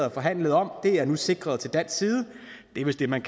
og forhandlede om er nu sikret til dansk side det er vist det man